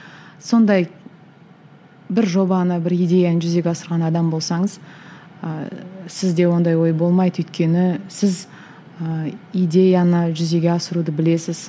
сондай бір жобаны бір идеяны жүзеге асырған адам болсаңыз ыыы сізде ондай ой болмайды өйткені сіз ыыы идеяны жүзеге асыруды білесіз